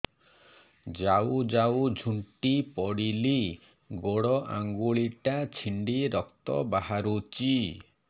ଯାଉ ଯାଉ ଝୁଣ୍ଟି ପଡ଼ିଲି ଗୋଡ଼ ଆଂଗୁଳିଟା ଛିଣ୍ଡି ରକ୍ତ ବାହାରୁଚି